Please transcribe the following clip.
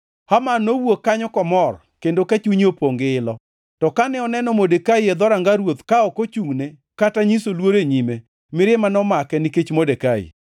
Haman nowuok kanyo kamor kendo ka chunye opongʼ gi ilo. To kane oneno Modekai e dhoranga ruoth ka ok ochungʼ ne kata nyiso luor e nyime, mirima nomake nikech Modekai.